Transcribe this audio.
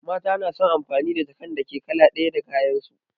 Mata na son amfani da jakan da ke da kala ɗaya da kayan su